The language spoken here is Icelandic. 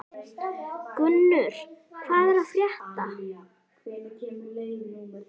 Gunnur, hvað er að frétta?